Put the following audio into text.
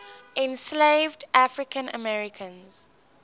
enslaved african americans